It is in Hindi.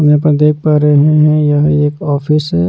यहां पर देख पा रहे हैं यह एक ऑफिस है।